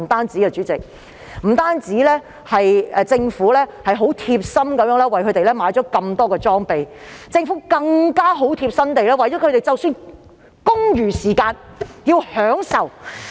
主席，政府不但貼心地為他們購置大量裝備，亦貼心地安排他們在公餘時間得到享受。